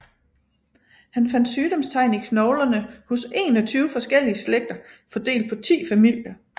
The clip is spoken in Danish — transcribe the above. Han fandt sygdomstegn i knoglerne hos 21 forskellige slægter fordelt på 10 familier